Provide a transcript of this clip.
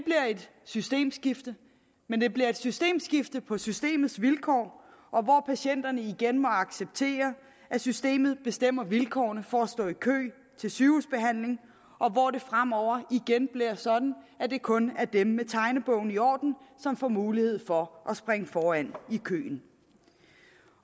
systemskifte men det bliver et systemskifte på systemets vilkår hvor patienterne igen må acceptere at systemet bestemmer vilkårene for at stå i kø til sygehusbehandling og hvor det fremover igen bliver sådan at det kun er dem med tegnebogen i orden som får mulighed for at springe foran i køen